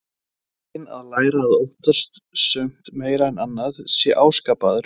Eiginleikinn að læra að óttast sumt meira en annað sé áskapaður.